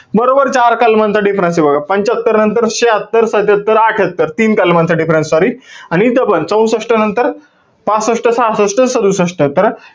बरोबर चार कलमांचा difference बघा. पंच्यात्तर नंतर शह्यात्तर, सत्त्यात्तर, अठ्ठयात्तर, तीन कलमांचा difference sorry. आणि इथपण चौसष्ट नंतर पासष्ट, सहासष्ट, सदुसष्ट. तर,